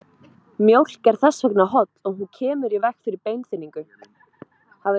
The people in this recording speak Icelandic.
Mjólk er þess vegna holl og hún kemur í veg fyrir beinþynningu.